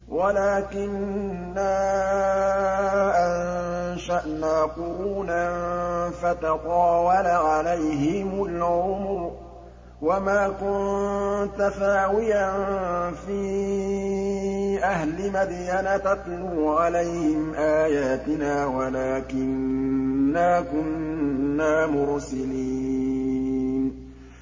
وَلَٰكِنَّا أَنشَأْنَا قُرُونًا فَتَطَاوَلَ عَلَيْهِمُ الْعُمُرُ ۚ وَمَا كُنتَ ثَاوِيًا فِي أَهْلِ مَدْيَنَ تَتْلُو عَلَيْهِمْ آيَاتِنَا وَلَٰكِنَّا كُنَّا مُرْسِلِينَ